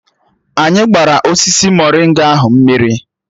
Anyị gbara osisi morịnga ahụ mmiri